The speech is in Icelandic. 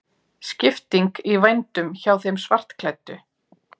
Skipting í vændum hjá þeim svartklæddu.